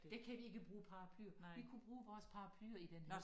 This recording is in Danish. Der kan vi ikke bruge paraplyer vi kunne bruge vores paraplyer i den her